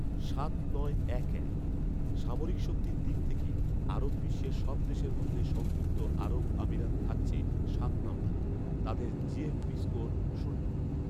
সাত নয় এক এক। সামরিক শক্তির দিক থেকে আরব বিশ্বের সব দেশের মধ্যে সংযুক্ত আরব আমিরাত থাকছে সাত নাম্বারে৷ তাদের জিএফপি স্কোর শূন্য